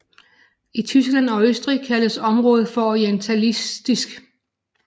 I Tyskland og Østrig kaldes området for orientalistik